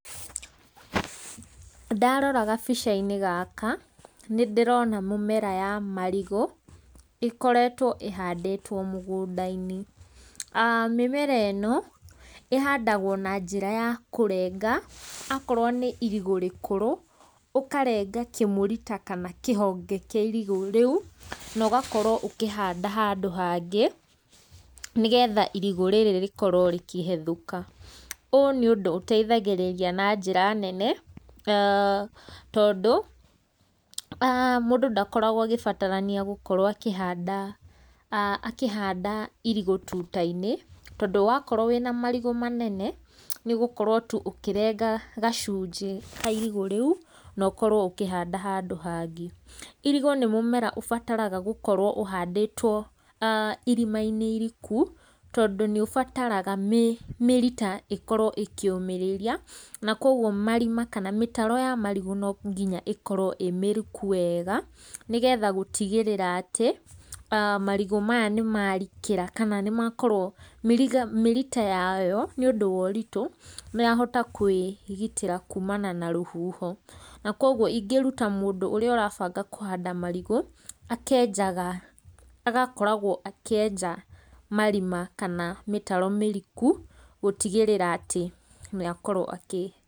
Ndarora gabica-inĩ gaka, nĩ ndĩrona mũmera ya marigũ, ĩkoretwo ĩhandĩtwo mũgũnda-inĩ, mĩmera ĩno ĩhandagwo na njĩra ya kũrenga akorwo nĩ irigũ rĩkũrũ, ũkarenga kĩmũrita kana kĩhonge kĩa irigũ rĩu, nogakorwo ũkĩhanda handũ hangĩ nĩgetha irigũ rĩrĩ rĩkorwo rĩkĩhethũka, ũũ nĩ ũndũ ũteithagĩrĩria na njĩra nene tondũ mũndũ ndakoragwo agĩbatarania gũkorwo akĩhanda akĩhanda irigũ tuta-inĩ, tondũ wakorwo wĩna marigũ manene, nĩgũkorwo tu ũkĩrenga gacunjĩ ka irigũ rĩu, nokorwo ũkĩhanda handũ hangĩ. Irigũ nĩ mũmera ũbataraga gũkorwo ũhandĩtwo irima-inĩ iriku, tondũ nĩ ũbataraga mĩrita ĩkorwo ĩkĩũmĩrĩria, na koguo marima kana mĩtaro ya marigũ no nginya ĩkorwo ĩ mĩriku wega, nĩgetha gũtigĩrĩra atĩ marigũ maya nĩ marikĩra kana nĩ makorwo mĩriga mĩrita yayo nĩ ũndũ wa ũritũ nĩ yahota kwĩgitĩra kuumana na rũhuho, na koguo ingĩruta mũndũ ũrĩa ũrabanga kũhanda marigũ, akenjaga agakoragwo akĩenja marima kana mĩtaro mĩriku gũtigĩrĩra atĩ nĩ akorwo akĩ.